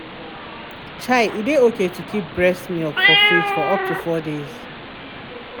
chai e dey okay to keep breast milk for fridge for up to four days.